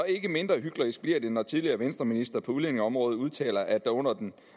ikke mindre hyklerisk når tidligere venstreministre på udlændingeområdet udtaler at der under dem